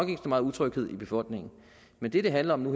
meget utryghed i befolkningen men det det handler om nu